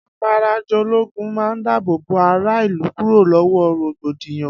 Afarajológun man dábòbò ará ìlú kúrò lọwọ rògbòdìyàn